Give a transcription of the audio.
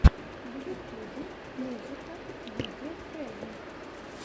в ютюбе музыка видео презент